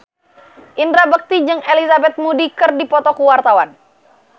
Indra Bekti jeung Elizabeth Moody keur dipoto ku wartawan